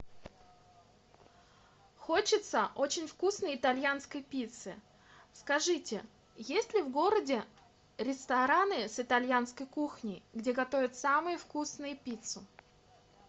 хочется очень вкусной итальянской пиццы скажите есть ли в городе рестораны с итальянской кухней где готовят самую вкусную пиццу